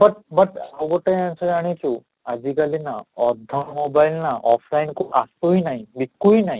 but but ଆଉ ଗୋଟେ ଜିନିଷ ଜାଣିଛୁ ଆଜି କାଲି ନା ଅଧା mobile ନା offline କୁ ଆସୁ ହିଁ ନାହିଁ ଦିଶୁ ହିଁ ନାହିଁ